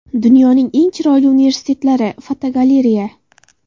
Dunyoning eng chiroyli universitetlari (fotogalereya).